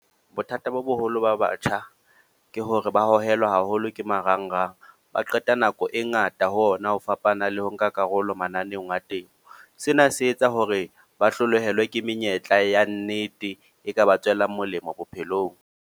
Bothata bo boholo ba batjha, ke hore ba hohelwa haholo ke marangrang. Ba qeta nako e ngata ho ona, ho fapana le ho nka karolo mananeong a temo. Sena se etsa hore ba hlolohelwa ke menyetla ya nnete, e ka ba tswelang molemo bophelong.